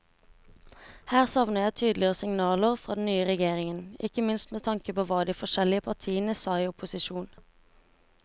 Her savner jeg tydeligere signaler fra den nye regjeringen, ikke minst med tanke på hva de forskjellige partiene sa i opposisjon.